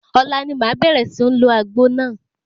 Ọ̀la ni màá bẹ̀rẹ̀ sí ń lo àgbo náà.